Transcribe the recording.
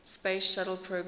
space shuttle program